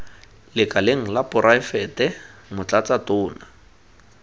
lekaleng la poraefete motlatsa tona